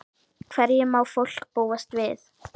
Hverju má fólk búast við?